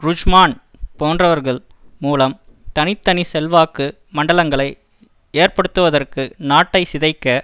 ருட்ஜ்மான் போன்றவர்கள் மூலம் தனி தனி செல்வாக்கு மண்டலங்களை ஏற்படுத்துவதற்கு நாட்டை சிதைக்க